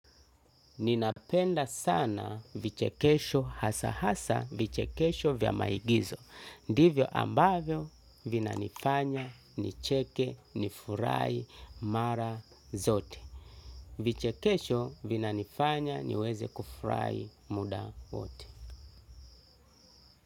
Ninapenda sana vichekesho hasa hasa vichekesho vya maigizo. Divyo ambavyo vinanifanya nicheke nifurahai mara zote. Vichekesho vinanifanya niweze kufurahai muda ote.